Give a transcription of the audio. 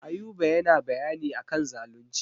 Ayuba yana bayani a kan zalunci.